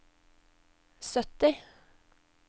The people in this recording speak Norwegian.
sytti